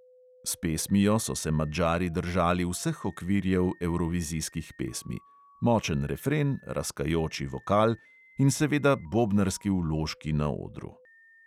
S pesmijo so se madžari držali vseh okvirjev evrovizijskih pesmi – močen refren, raskajoči vokal in seveda bobnarski vložki na odru.